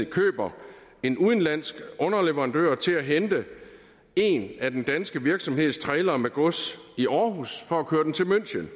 køber en udenlandsk underleverandør til at hente en af den danske virksomheds trailere med gods i aarhus for at køre den til münchen